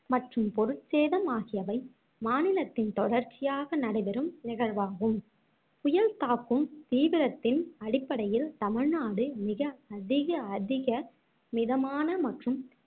மற்றும் பொருட்சேதம் ஆகியவை மாநிலத்தில் தொடர்ச்சியாக நடைபெறும் நிகழ்வாகும் புயல் தாக்கும் தீவிரத்தின் அடிப்படையில் தமிழ்நாடு மிக அதிக அதிக மிதமான மற்றும்